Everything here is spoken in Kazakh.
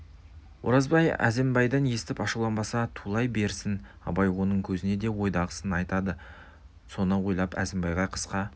оразбай әзімбайдан естіп ашуланбаса тулай берсін абай оның көзіне де ойдағысын айтады соны ойлап әзімбайға қысқа